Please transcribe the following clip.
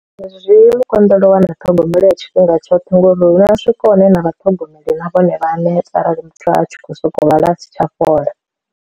Ndi zwi mu konḓela u wana ṱhogomelo ya tshifhinga tshoṱhe ngori hu na swika hune na vha ṱhogomeli na vhone vha a neta arali muthu a tshi khou sokou lwala a si tsha fhola.